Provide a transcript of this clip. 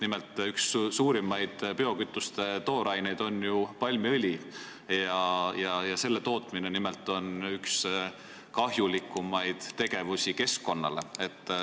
Nimelt on üks suurimaid biokütuste tooraineid ju palmiõli ja selle tootmine on üks keskkonnale kahjulikumaid tegevusi.